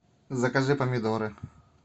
закажи помидоры